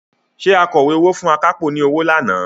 Ṣé akọ̀wé owó fún akápò ni ọwọ́ lánàá?